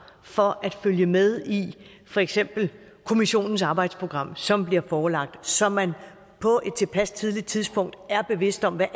for at følge med i for eksempel kommissionens arbejdsprogram som bliver forelagt så man på et tilpas tidligt tidspunkt er bevidst om hvad